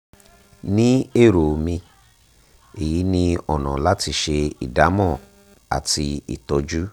ní èrò mi èyí ni ọ̀nà láti ṣe ìdámọ̀ àti ìtọ́jú